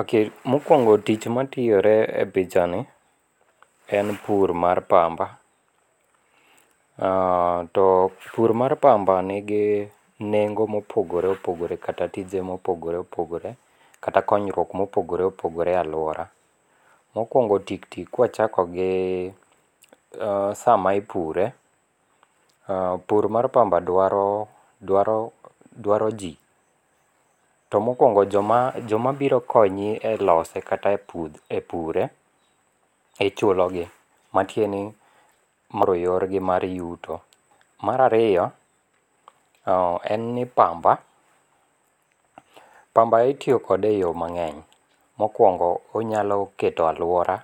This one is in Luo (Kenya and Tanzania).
Ok mokuongo' tich ma tiyore e pichani, en pur mar pamba, to pur mar pamba nigi nengo' mopogore opogore kata tije mopogore opogore kata konyruok mopogore opogore e aluora, mokuongo tiktik ka wachako gi sama ipure, pur mar pamba dwaro dwaro dwaro ji to mokuongo' joma joma biro konyi e lose kata e pure ichulogi, matieni mano yorgi mag yuto, marariyo en ni pamba pamba itiyokode e yore mangeny' mokuongo' onyalo keto aluora